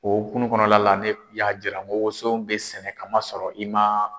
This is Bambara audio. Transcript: O okunu kɔnɔna la ne y'a jira ko woso bɛ sɛnɛ kamasɔrɔ i ma.